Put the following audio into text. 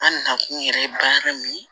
An nakun yɛrɛ baara min ye